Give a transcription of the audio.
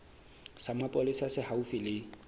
sa mapolesa se haufi le